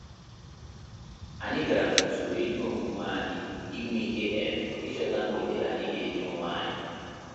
Anyị gara n'usoro ihe omume anyị i nweike um ịchọta mgbede anyị ga enye onwe anyị